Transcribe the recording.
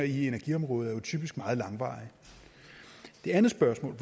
i energiområdet er jo typisk meget langvarige det andet spørgsmål